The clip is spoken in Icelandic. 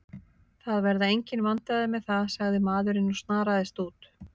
Það verða engin vandræði með það, sagði maðurinn og snaraðist út.